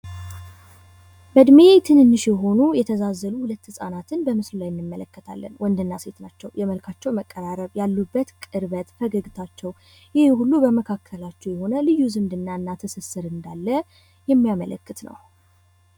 በእድሜ ትንንሽ የሆኑ የተዛዛሉ ሁለት ህጻናትን በምስሉ እንመለከታለን። ወንድና ሴት ናቸው። የመልካቸው መቀራረብ ያሉበት ቅርበት ፈገግታቸው ይሄ ሁሉ በመካከላቸው የሆነ ልዩ ዝምድና እንዳለ የሚያመለክት ነው።